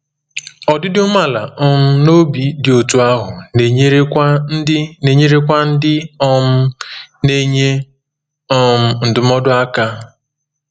Ọdịdị umeala um n’obi dị otú ahụ na-enyerekwa ndị na-enyerekwa ndị um na-enye um ndụmọdụ aka.